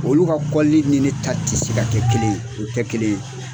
Olu ka kɔli ni ne ta tɛ se ka kɛ kelen ye o tɛ kelen ye.